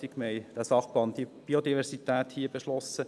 Wir haben diesen Sachplan Biodiversität hier beschlossen.